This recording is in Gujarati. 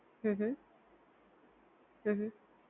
હમ્મ હમ્મ હમ્મ હમ્મ